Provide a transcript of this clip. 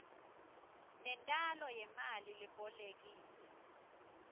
nentalo yemali lebolekiwe